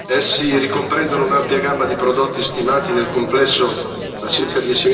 Essi ricomprendono un'ampia gamma di prodotti stimati nel complesso a circa